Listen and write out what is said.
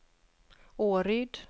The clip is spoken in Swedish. Åryd